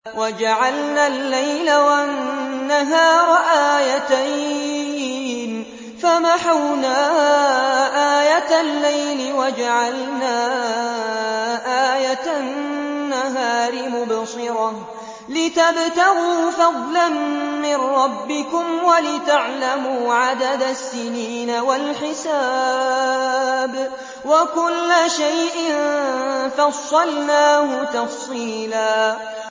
وَجَعَلْنَا اللَّيْلَ وَالنَّهَارَ آيَتَيْنِ ۖ فَمَحَوْنَا آيَةَ اللَّيْلِ وَجَعَلْنَا آيَةَ النَّهَارِ مُبْصِرَةً لِّتَبْتَغُوا فَضْلًا مِّن رَّبِّكُمْ وَلِتَعْلَمُوا عَدَدَ السِّنِينَ وَالْحِسَابَ ۚ وَكُلَّ شَيْءٍ فَصَّلْنَاهُ تَفْصِيلًا